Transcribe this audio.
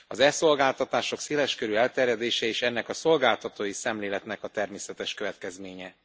Az e szolgáltatások széles körű elterjedése is ennek a szolgáltatói szemléletnek a természetes következménye.